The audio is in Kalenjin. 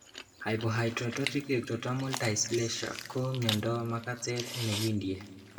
Hypohidrotic ectodermal dysplasia ko miondab makate nekindie